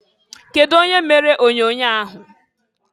Kedu onye mere onyoonyoo ahụ?